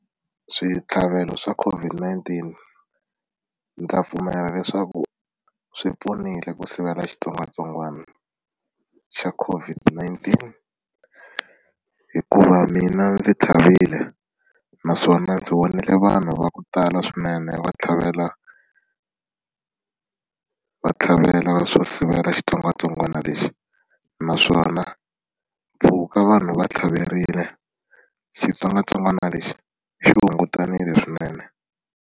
Switlhavelo swa COVID-19, ndzi ta pfumela leswaku swi pfunile ku sivela xitsongwatsongwana xa Covoid-19. Hikuva mina ndzi tlhavile, naswona ndzi vone vanhu va ku tala swinene va tlhavela va tlhavela swo sivela xitsongwatsongwana lexi. Naswona mpfhuka vanhu va tlhaverile xitsongwatsongwana lexi xi hungutanile swinene.